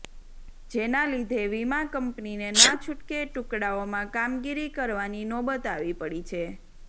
જેના લીધે વિમા કંપનીને ના છુટકે ટુકડાઓમાં કામગીરી કરવાની નોબત આવી પડી છે